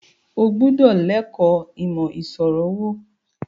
O gbúdọ̀ l ẹ̀kọ́ ìmọ̀ ìṣirò owó! Bàbá sọ fún Seyi.